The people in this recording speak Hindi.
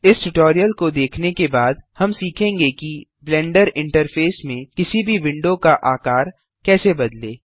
इस ट्यूटोरियल को देखने के बाद हम सीखेंगे कि ब्लेंडर इंटरफेस में किसी भी विंडो का आकार कैसे बदलें